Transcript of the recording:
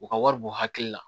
U ka wari b'u hakili la